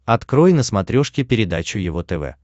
открой на смотрешке передачу его тв